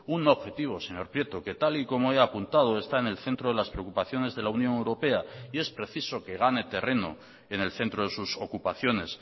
un objetivo señor prieto que tal y como he apuntado está en el centro de las preocupaciones de la unión europea y es preciso que gane terreno en el centro de sus ocupaciones